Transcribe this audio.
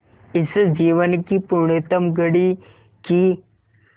इस जीवन की पुण्यतम घड़ी की स्